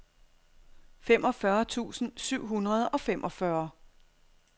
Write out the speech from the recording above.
femogfyrre tusind syv hundrede og femogfyrre